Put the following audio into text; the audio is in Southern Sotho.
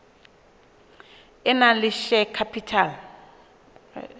e nang le share capital